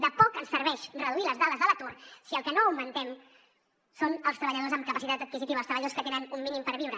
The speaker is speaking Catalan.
de poc ens serveix reduir les dades de l’atur si el que no augmentem són els treballadors amb capacitat adquisitiva els treballadors que tenen un mínim per viure